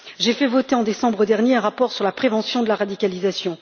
J'ai fait voter en décembre dernier un rapport sur la prévention de la radicalisation.